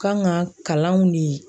Kan ka kalanw ni